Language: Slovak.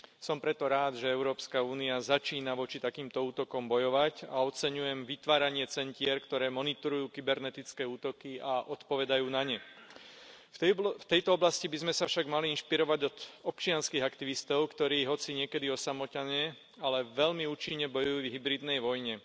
Som preto rád, že Európska únia začína voči takýmto útokom bojovať, a oceňujem vytváranie centier, ktoré monitorujú kybernetické útoky a odpovedajú na ne. V tejto oblasti by sme sa však mali inšpirovať od občianskych aktivistov, ktorí hoci niekedy osamotene, ale veľmi účinne bojujú v hybridnej vojne.